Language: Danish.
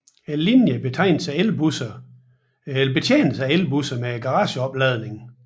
Linjen betjenes af elbusser med garageopladning